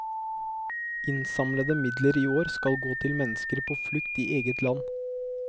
Innsamlede midler i år skal gå til mennesker på flukt i eget land.